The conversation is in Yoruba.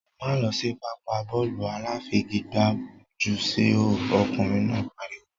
Máá lọ sí pápá bọ́ọ̀lù aláfigigbá jù síhò! ọkùnrin náà pariwo.